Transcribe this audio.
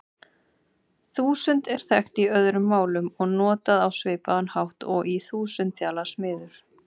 Þúsund er þekkt í öðrum málum og notað á svipaðan hátt og í þúsundþjalasmiður.